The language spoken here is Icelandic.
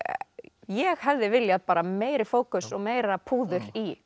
ég hefði viljað bara meiri fókus og meira púður í